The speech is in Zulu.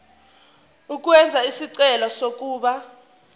ukwenza isicelo sokuba